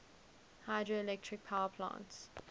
hydroelectric power plants